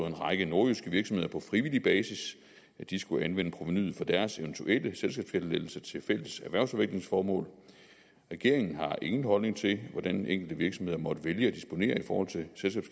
en række nordjyske virksomheder på frivillig basis skulle anvende provenuet fra deres eventuelle selskabsskattelettelse til fælles erhvervsudviklingsformål regeringen har ingen holdning til hvordan enkelte virksomheder måtte vælge at disponere i forhold til